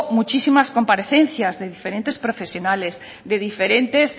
muchas comparecencias de diferentes profesionales de diferentes